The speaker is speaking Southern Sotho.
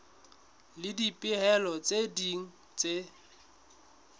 le dipehelo tse ding tse